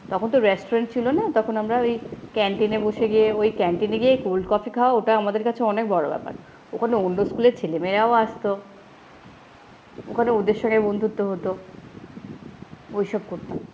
তখনতো restaurant ছিলো না, তখন আমরা ওই ক্যান্টিনে বসে গিয়ে, ওই ক্যান্টিনে গিয়ে কোল্ড কফি খাওয়া, ওটা আমাদের কাছে অনেক বড়ো ব্যাপার। ওখানে অন্য স্কুলের ছেলেমেয়েরাও আসতো, ওখানে ওদের সাথে বন্ধুত্ব হতো, ঐসব করতাম।